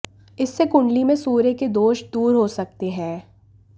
इससे कुंडली में सूर्य के दोष दूर हो सकते हैं